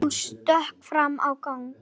Hún stökk fram í gang.